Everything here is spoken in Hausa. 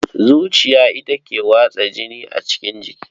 Zuciya ita ke watsa jini a cikin jiki.